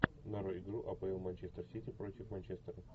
нарой игру апл манчестер сити против манчестера